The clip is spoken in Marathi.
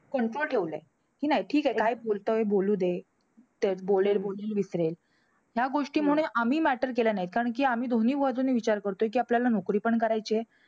Control ठेवलंय. कि नाही ठीके काय बोलतोय बोलू दे. ते बोलेल परत विसरेल. ह्या गोष्टीमुळे आम्ही matter केले नाहीत. कारण कि आम्ही दोन्ही बाजूने विचार करतोय कि आपल्याला नोकरी पण करायचीय.